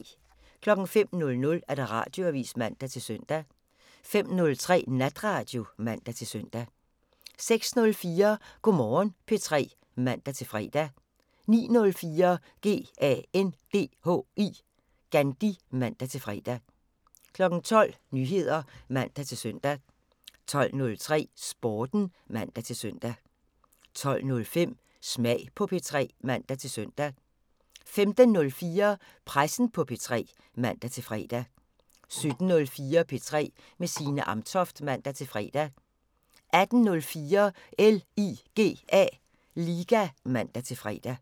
05:00: Radioavisen (man-søn) 05:03: Natradio (man-søn) 06:04: Go' Morgen P3 (man-fre) 09:04: GANDHI (man-fre) 12:00: Nyheder (man-søn) 12:03: Sporten (man-søn) 12:05: Smag på P3 (man-søn) 15:04: Pressen på P3 (man-fre) 17:04: P3 med Signe Amtoft (man-fre) 18:04: LIGA (man-fre)